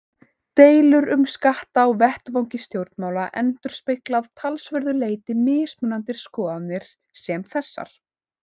Deilur um skatta á vettvangi stjórnmála endurspegla að talsverðu leyti mismunandi skoðanir sem þessar.